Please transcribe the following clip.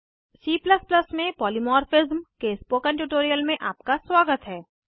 C में polymorphism के spoken tutorial में आपका स्वागत है